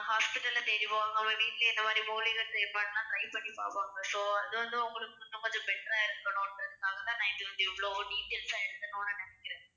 hospital அ தேடி வருவாங்க அவங்க வீட்டிலேயே இந்த மாதிரி மூலிகை செயல்பாடெல்லாம் try பண்ணி பார்ப்பாங்க so அது வந்து அவங்களுக்கு இன்னும் கொஞ்சம் better ஆ இருக்கணும்ன்றதுக்காகதான் நான் வந்து இத இவ்ளோ details ஆ எழுதணும்னு நினைக்கிறேன்